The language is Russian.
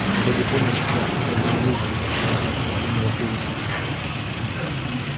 добби понял что проговорился и остолбенел от ужаса